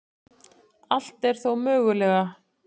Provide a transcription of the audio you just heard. Allt er þó mögulega